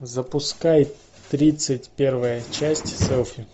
запускай тридцать первая часть селфи